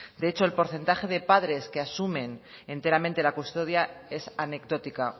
de hecho el porcentaje de padres que asumen enteramente la custodia es anecdótica